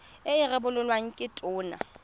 e e rebolwang ke tona